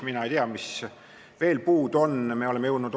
Palun, põhiseaduskomisjoni esimees Marko Pomerants, mikrofon on sinu!